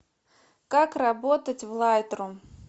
как работать в лайтрум